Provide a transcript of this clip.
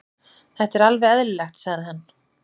Þetta er alveg eðlilegt, sagði hann.